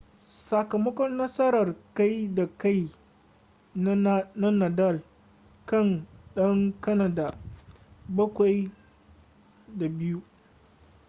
sakamakon nasarar kai da kai na nadal kan dan kanada 7-2